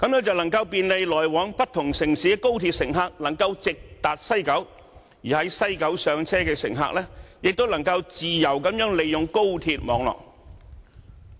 這樣，來往不同城市的高鐵乘客，便能夠直達西九，感到更便利；而在西九上車的乘客，亦能夠自由地利用高鐵網絡。